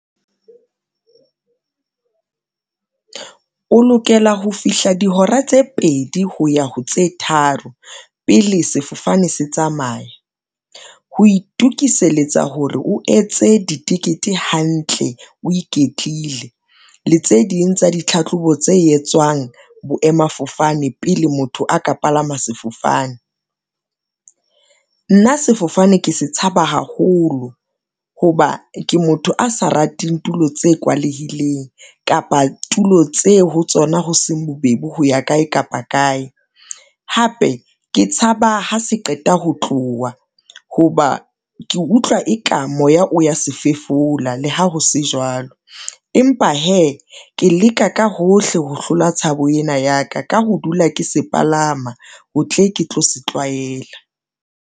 O lokela ho fihla dihora tse pedi ho ya ho tse tharo pele sefofane se tsamaya. Ho itukiseletsa hore o etse ditikete hantle, o iketlile le tse ding tsa ditlhahlobo tse etswang boemafofane, pele motho a ka palama sefofane. Nna sefofane ke se tshaba haholo ho ba ke motho a sa rateng tulo tse kwalehileng, kapa tulo tseo ho tsona hoseng bobebe ho ya kae kapa kae. Hape ke tshaba ha se qeta ho tloha ho ba ke utlwa e ka moya o ya se fefola le ha ho se jwalo, empa hee ke leka ka hohle ho hlola tshabo ena ya ka, ka ho dula ke se palama, ho tle ke tlo se tlwaela.